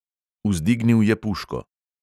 Vzdignil je puško ...